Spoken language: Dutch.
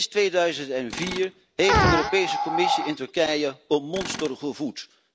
Sinds 2004 heeft de Europese Commissie in Turkije een monster gevoed.